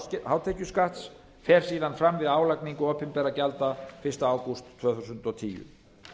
hátekjuskatts fer síðan fram við álagningu opinberra gjalda fyrsta ágúst tvö þúsund og tíu